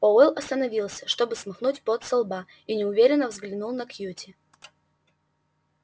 пауэлл остановился чтобы смахнуть пот со лба и неуверенно взглянул на кьюти